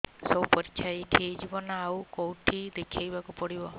ସବୁ ପରୀକ୍ଷା ଏଇଠି ହେଇଯିବ ନା ଆଉ କଉଠି ଦେଖେଇ ବାକୁ ପଡ଼ିବ